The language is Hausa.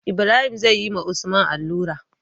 Ibrahim zeyi wa usman allura